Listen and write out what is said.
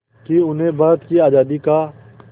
कि उन्हें भारत की आज़ादी का